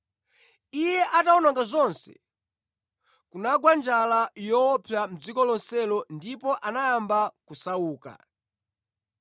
Iye atawononga zonse, kunagwa njala yoopsa mʼdziko lonselo ndipo anayamba kusauka.